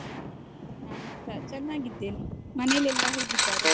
ನಾನ್ಸ ಚೆನ್ನಾಗಿದ್ದೇನೆ. ಮನೆಲ್ಲೆಲ್ಲಾ ಹೇಗಿದ್ದಾರೆ?